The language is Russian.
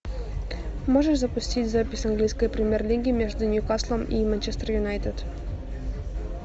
можешь запустить запись английской премьер лиги между ньюкаслом и манчестер юнайтед